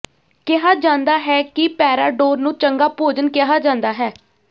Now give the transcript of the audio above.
ਕਿਹਾ ਜਾਂਦਾ ਹੈ ਕਿ ਪੈਰਾਡੋਰ ਨੂੰ ਚੰਗਾ ਭੋਜਨ ਕਿਹਾ ਜਾਂਦਾ ਹੈ